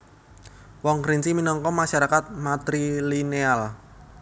Wong Kerinci minangka masarakat matrilineal